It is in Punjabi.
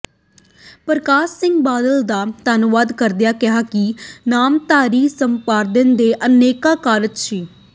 ਪਰਕਾਸ਼ ਸਿੰਘ ਬਾਦਲ ਦਾ ਧੰਨਵਾਦ ਕਰਦਿਆਂ ਕਿਹਾ ਕਿ ਨਾਮਧਾਰੀ ਸੰਪਰਦਾਇ ਦੇ ਅਨੇਕਾਂ ਕਾਰਜ ਸ੍ਰ